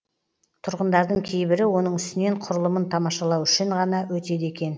тұрғындардың кейбірі оның үстінен құрылымын тамашалау үшін ғана өтеді екен